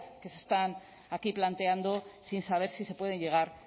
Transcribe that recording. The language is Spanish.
que se están aquí planteando sin saber si se puede llegar